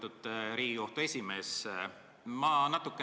Lugupeetud Riigikohtu esimees!